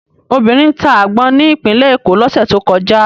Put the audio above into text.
Obìnrin ta àgbọn ní Ìpínlẹ̀ Èkó lọ́sẹ̀ tó kọjá.